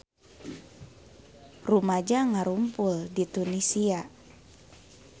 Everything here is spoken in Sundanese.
Rumaja ngarumpul di Tunisia